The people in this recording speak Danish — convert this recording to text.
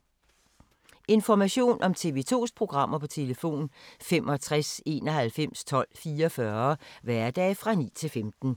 Information om TV 2's programmer: 65 91 12 44, hverdage 9-15.